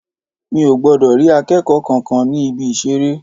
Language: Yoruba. Mi ò gbọdọ̀ rí akẹ́kọ̀ọ́ kankan ní Ibi-ìṣeré.